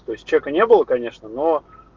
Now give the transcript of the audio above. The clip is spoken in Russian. то есть чека не было конечно но